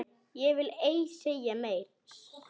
Ég vil ei segja meira.